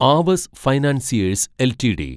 Aavas financiers LTD